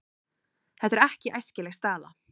Þetta er ekki æskileg staða.